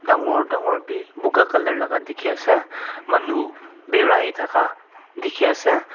Dakor dakor be poka colour laga dekhi asa manu beraithaka dekhi asa.